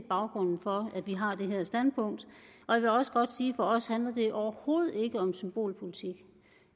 baggrunden for at vi har det her standpunkt jeg vil også godt sige at for os handler det overhovedet ikke om symbolpolitik